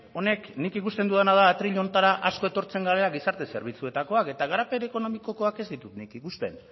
honek nik ikusten dudana da atril honetara asko etortzen garela gizarte zerbitzuetakoak eta garapen ekonomikokoak ez ditut nik ikusten